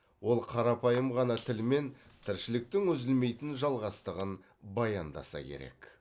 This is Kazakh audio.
ол қарапайым ғана тілмен тіршіліктің үзілмейтін жалғастығын баяндаса керек